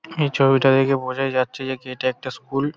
এই ছবি টা দেখে বোঝাই যাচ্ছে যে এটা একটা স্কুল ।